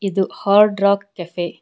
ಇದು Hard Rock Cafe .